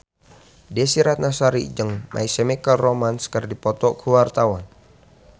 Desy Ratnasari jeung My Chemical Romance keur dipoto ku wartawan